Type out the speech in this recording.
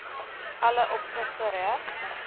alle opsigte korrek